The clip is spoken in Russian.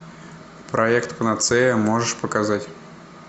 проект панацея можешь показать